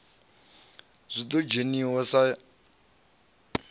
ṱo ḓa u dzhiwa sa